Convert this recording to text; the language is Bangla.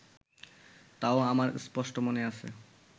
তাও আমার স্পষ্ট মনে আছে